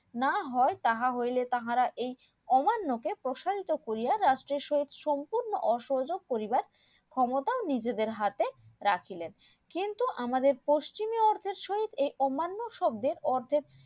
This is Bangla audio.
না হয় তাহা হইলে তাহারা এই অমান্য কে প্রসারিত করিয়া রাষ্টের সহিত সম্পূর্ণ অসযোগ করিবার ক্ষমতাও নিজেদের হাতে রাখিলেন কিন্তু আমাদের পশ্চিমি অর্থের সহিত এই অমান্য শব্দের অর্থের